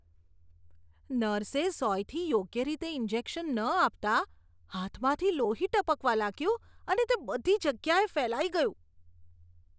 નર્સે સોયથી યોગ્ય રીતે ઈન્જેક્શન ન આપતાં હાથમાંથી લોહી ટપકવા લાગ્યું અને તે બધી જગ્યાએ ફેલાઈ ગયું.